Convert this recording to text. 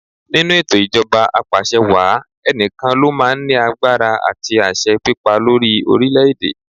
Nínú ètò ijoba Apàṣẹwàá, ènìyàn kan lo máa ń ní agbára àti àṣẹ pípa lórí orílẹ̀ èdè.